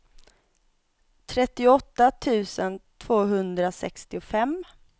trettioåtta tusen tvåhundrasextiofem